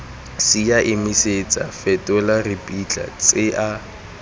senya emisetsa fetola ripitla tsenya